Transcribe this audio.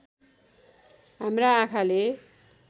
हाम्रा आँखाले